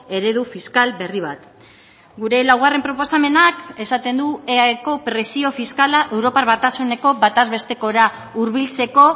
eredu fiskal berri bat gure laugarren proposamenak esaten du eaeko presio fiskala europar batasuneko bataz bestekora hurbiltzeko